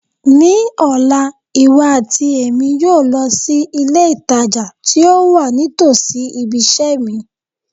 Ní ọ̀la, iwọ àti Èmi yóò lọ si ilé ìtajà ti o wa nítòsí ibiṣẹ́ mi